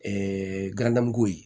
galada mugu ye